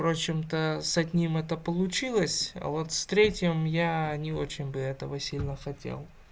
впрочем то с одним это получилось а вот с третьим я не очень бы этого сильно хотел